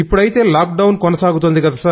ఇప్పుడైతే lockdown కొనసాగుతోంది